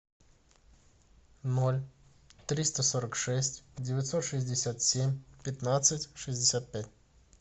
ноль триста сорок шесть девятьсот шестьдесят семь пятнадцать шестьдесят пять